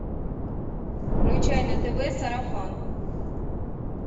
включай на тв сарафан